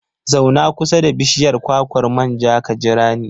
Zauna kusa da bishiyar kwakwar manja ka jira ni.